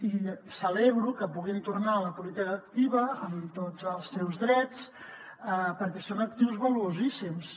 i celebro que puguin tornar a la política activa amb tots els seus drets perquè són actius valuosíssims